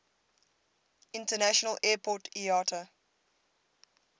international airport iata